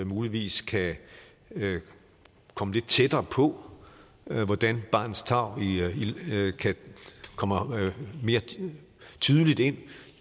muligvis kan komme lidt tættere på hvordan barnets tarv kan komme mere tydeligt ind